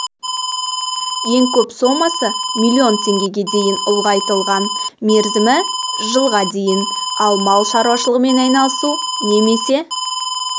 ең көп сомасы миллион теңгеге дейін ұлғайтылған мерзімі жылға дейін ал мал шаруашылығымен айналысу немесе